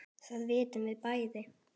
Það vitum við bæði.